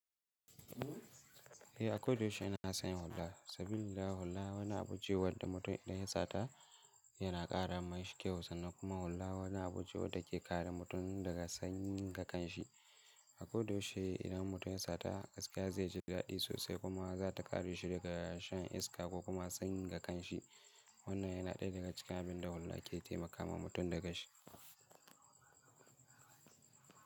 Eh a ko da yaushe nakan sanya hulla. Saboda hulla wani abu ce wadda mutum idan ya sata yana ƙara mashi kyau sa. Kuma hulla wani abu ce wadda ke kare mutum daga sanyi ga kanshi. A ko da yaushe idan mutum ya sata gaskiya zai ji dadi sosai kuma za ta kare shi daga shan iska ko kuma sanyi ga kanshi. Wannan yana ɗaya daga cikin abin da hulla ke taimakawa mutum da kanshi.